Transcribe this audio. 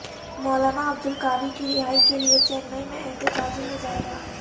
مولانا عبدالقوی کی رہائی کے لیے چنئی میں احتجاجی مظاہرہ